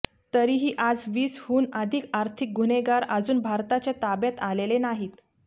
तरीही आज वीसहून अधिक आर्थिक गुन्हेगार अजून भारताच्या ताब्यात आलेले नाहीत